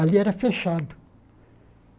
Ali era fechado.